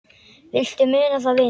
Viltu muna það, vinur?